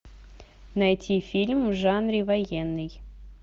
найти фильм в жанре военный